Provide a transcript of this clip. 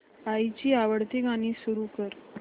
आईची आवडती गाणी सुरू कर